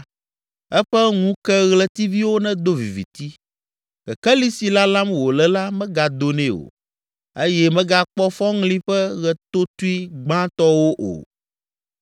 Eƒe ŋukeɣletiviwo nedo viviti, kekeli si lalam wòle la megado nɛ o eye megakpɔ fɔŋli ƒe ɣetotoe gbãtɔwo o,